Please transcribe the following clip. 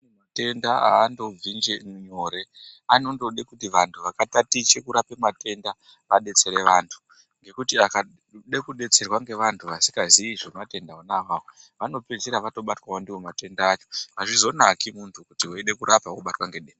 Matenda andobvi njee nyore ano ndode kuti vantu vaka tatiche kurape matenda vadetsere vantu ngekuti akade ku detserwa nge vantu vasika zii zve matenda iwona awawo vano pedzisira vato batwawo ndiwo matenda acho azvizo naki muntu kuti weide kurapa wobatwa nge denda.